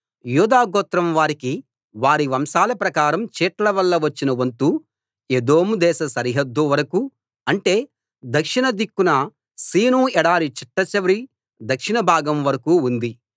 యూదాగోత్రం వారికి వారి వంశాల ప్రకారం చీట్ల వల్ల వచ్చిన వంతు ఎదోం దేశ సరిహద్దు వరకూ అంటే దక్షిణ దిక్కున సీను ఎడారి చిట్టచివరి దక్షిణ భాగం వరకూ ఉంది